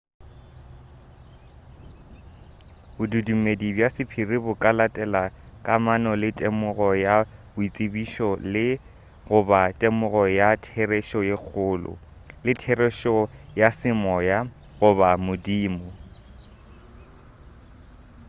bodumedi bja sephiri bo ka latela kamano le temogo ya boitsebišo le goba temogo ya therešo ye kgolo le therešo ya semoya goba modimo